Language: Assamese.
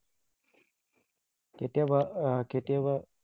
কেতিয়াবা আহ কেতিয়াবা